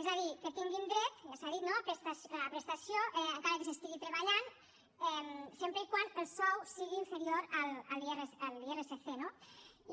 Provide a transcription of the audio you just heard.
és a dir que tinguin dret ja s’ha dit no a prestació encara que s’estigui treballant sempre que el sou sigui inferior a l’irsc